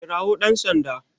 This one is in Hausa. Kirawo dan Sanda